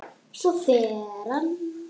Svo fer hann.